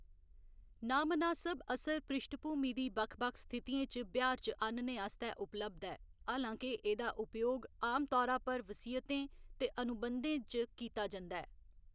नांमनासब असर पृश्ठभूमि दी बक्ख बक्ख स्थितियें च ब्यहार च आह्‌‌‌नने आस्तै उपलब्ध ऐ, हालां के एह्‌‌‌दा उपयोग आमतौरा पर वसीयतें ते अनुबंधें च कीता जंदा ऐ।